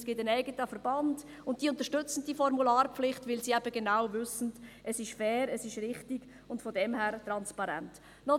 Es gibt einen eigenen Verband, welcher diese Formularpflicht unterstützt, weil er genau weiss, dass es fair und richtig und daher transparent ist.